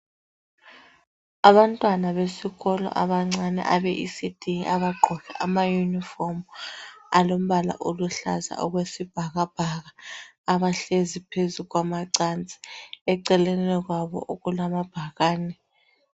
Abantwana besikolo abancane abeECD abagqoke amayunifomu alombala oluhlaza okwesibhakabhaka abahlezi phezu kwamacansi eceleni kwabo kulamabhakane.